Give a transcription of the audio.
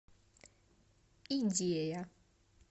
идея